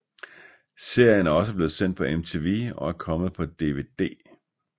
Serien er også blevet sendt på MTV og er kommet på dvd